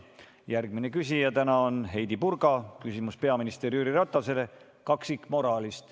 Järgmine küsija on Heidy Purga, küsimus on peaminister Jüri Ratasele kaksikmoraali kohta.